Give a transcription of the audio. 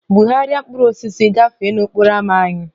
Bugharịa mkpụrụ osisi gafee n'okporo ámá anyị!